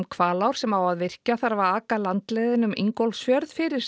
Hvalár sem á að virkja þarf að aka landleiðina um Ingólfsfjörð fyrir